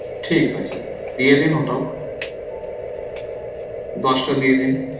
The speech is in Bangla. ঠিক আছে দিয়ে দিন ওটাও দশটা দিয়ে দিন